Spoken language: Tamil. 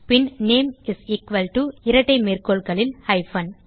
bin name is equal to இரட்டைமேற்கோள்களில்hypen